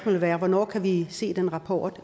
vil være hvornår kan vi se den rapport